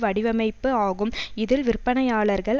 வடிவமைப்பு ஆகும் இதில் விற்பனையாளர்கள்